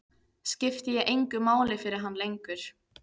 Skipti ég engu máli fyrir hann lengur?